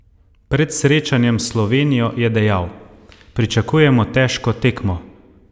Pred srečanjem s Slovenijo je dejal: "Pričakujemo težko tekmo.